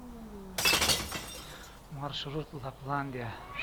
маршрут лапландия